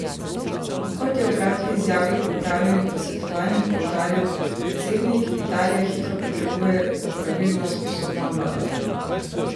Kot je v kratki izjavi po opravljenih posvetovanjih poudaril predsednik, Italija hitro potrebuje opravilno sposobno vlado.